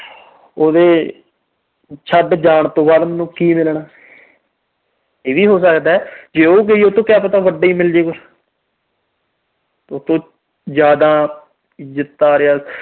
ਉਹਦੇ ਛੱਡ ਜਾਣ ਤੋਂ ਬਾਅਦ ਮੈਨੂੰ ਕੀ ਮਿਲਣਾ। ਇਹ ਵੀ ਹੋ ਸਕਦਾ ਵੀ ਉਹ ਗਈ, ਉਹਤੋਂ ਕਿਆ ਪਤਾ ਵੱਡਾ ਹੀ ਮਿਲਜੇ ਕੁਛ। ਉਹਤੋਂ ਜਿਆਦਾ